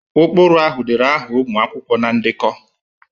Ụkpụrụ ahụ dere aha ụmụ akwụkwọ na ndekọ